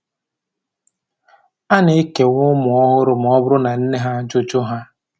A na-ekewa ụmụ ọhụrụ ma ọ bụrụ na nne ha jụ jụ ha